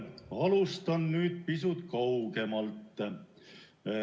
Alustan pisut kaugemalt.